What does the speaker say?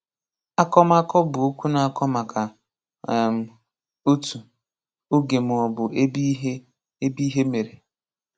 Akọmakọ bụ okwu na-akọ maka; um otu, oge maọbụ ebe ihe ebe ihe mere